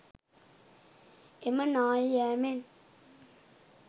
එම නාය යාමෙන්